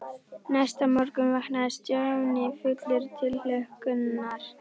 Næsta morgun vaknaði Stjáni fullur tilhlökkunar.